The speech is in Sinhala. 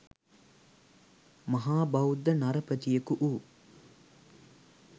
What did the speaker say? මහා බෞද්ධ නරපතියකු වූ